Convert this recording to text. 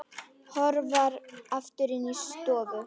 Hörfar aftur inn í stofu.